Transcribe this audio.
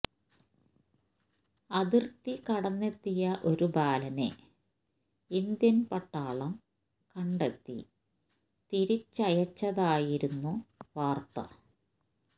അതിര്ത്തി കടന്നെത്തിയ ഒരു ബാലനെ ഇന്ത്യന് പട്ടാളം കണ്ടെത്തി തിരിച്ചയച്ചതായിരുന്നു വാര്ത്ത